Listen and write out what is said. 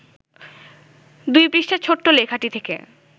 ২ পৃষ্ঠার ছোট্ট লেখাটি থেকে